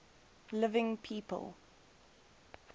living people